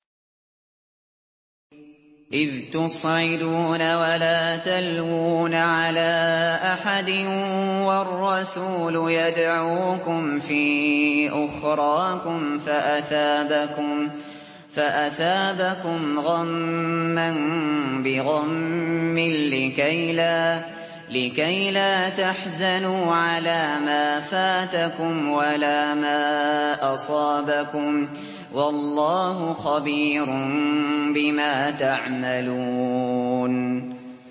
۞ إِذْ تُصْعِدُونَ وَلَا تَلْوُونَ عَلَىٰ أَحَدٍ وَالرَّسُولُ يَدْعُوكُمْ فِي أُخْرَاكُمْ فَأَثَابَكُمْ غَمًّا بِغَمٍّ لِّكَيْلَا تَحْزَنُوا عَلَىٰ مَا فَاتَكُمْ وَلَا مَا أَصَابَكُمْ ۗ وَاللَّهُ خَبِيرٌ بِمَا تَعْمَلُونَ